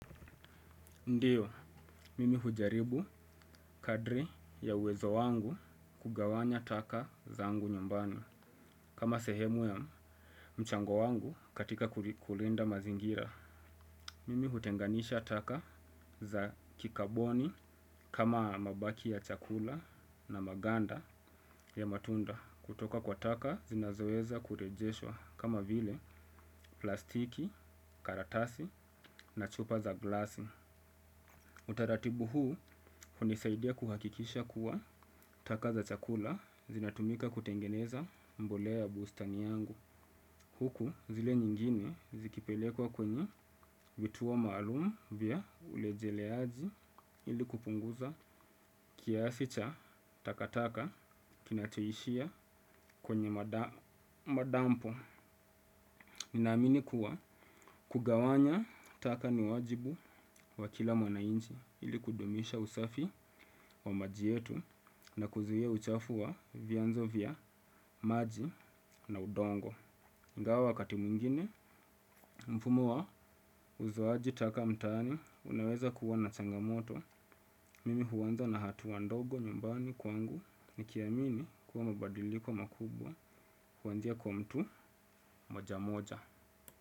Ndiyo, mimi hujaribu kadri ya uwezo wangu kugawanya taka zangu nyumbani kama sehemu ya mchango wangu katika kulinda mazingira. Mimi hutenganisha taka za kikaboni kama mabaki ya chakula na maganda ya matunda kutoka kwa taka zinazoweza kurejeshwa kama vile plastiki, karatasi na chupa za glasi. Utaratibu huu unanisaidia kuhakikisha kuwa taka za chakula zinatumika kutengeneza mbolea bustanini kwangu. Huku zile nyingine zikipelekwa kwenye vituo maalumu vya urejeleaji ili kupunguza kiasi cha takataka kinachoishia kwenye madampo. Ninaamini kuwa kugawanya taka ni wajibu wa kila mwananchi ili kudumisha usafi wa mazingira yetu na kuzuia uchafuzi wa vyanzo vya maji na udongo. Ingawa wakati mwingine mfumo wa uzoaji taka mtaani unaweza kuwa na changamoto. Mimi huanza na hatua ndogo nyumbani kwangu nikiamini kuwa mabadiliko makubwa huanzia kwa mtu mmoja mmoja.